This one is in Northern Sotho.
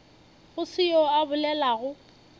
go se yoo a bolelago